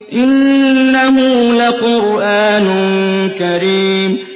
إِنَّهُ لَقُرْآنٌ كَرِيمٌ